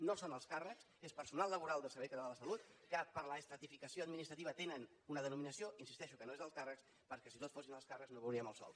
no són alts càrrecs és personal laboral del servei català de la salut que per l’estratificació administrativa tenen una denominació hi insisteixo que no és d’alts càrrecs perquè si tots fossin alts càrrecs no veuríem el sol